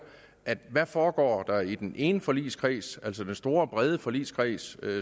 hvad foregår der i den ene forligskreds altså den store brede forligskreds